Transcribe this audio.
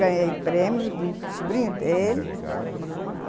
Ganhei prêmio de um sobrinho dele.